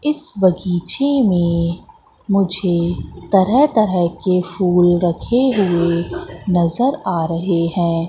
इस बगीचे में मुझे तरह तरह के फूल रखे हुए नजर आ रहे हैं।